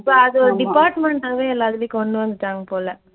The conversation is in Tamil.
இப்ப அதை ஒரு department ஆவே எல்லாத்துலயும் கொண்டுவந்துட்டாங்க போல.